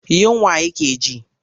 Yunwa yake ji.